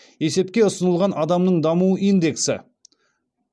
есепке ұсынылған адамның даму индексі